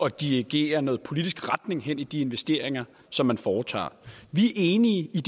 at dirigere noget politisk retning hen i de investeringer som man foretager vi er enige i